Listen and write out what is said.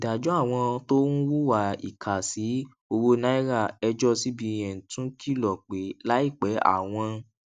ìdájọ àwọn tó ń hùwà ìkà sí owó naira ẹjọ cbn tún kìlò pé láìpé àwọn